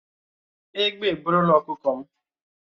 Ègbé eburulà ọkụkọ m